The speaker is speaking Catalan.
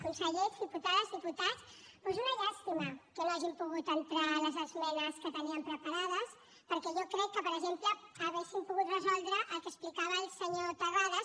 consellers diputades diputats doncs una llàstima que no hagin pogut entrar les esmenes que teníem preparades perquè jo crec que per exemple haurien pogut resoldre el que explicava el senyor terrades